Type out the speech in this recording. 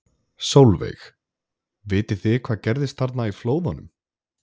Sólveig: Vitið þið hvað gerðist þarna í flóðunum?